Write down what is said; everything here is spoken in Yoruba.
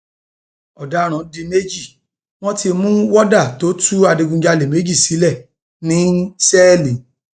ọdaràn di méjì wọn ti mú wọdà tó tú adigunjalè méjì sílẹ ní sẹẹlì